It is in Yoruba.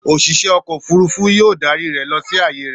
Òṣìṣẹ́ ọkọ̀-òfurufú yóò darí rẹ lọ sí ààyè rẹ.